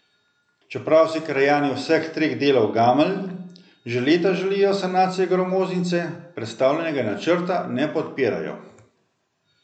Čeprav si krajani vseh treh delov Gameljn že leta želijo sanacije gramoznice, predstavljenega načrta ne podpirajo.